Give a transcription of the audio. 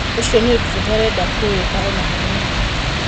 Ũcio ni ũndũ tũtarenda kũwĩka ona hanini.